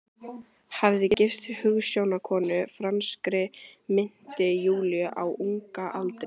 Hafði gifst hugsjónakonu, franskri minnti Júlíu, á unga aldri.